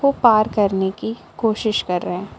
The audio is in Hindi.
ये पार करने की कोशिश कर रहे हैं।